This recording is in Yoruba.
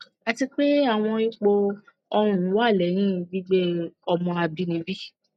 ati pe awọn ipo oorun wa lẹhin gbigbe ọmọ abinibi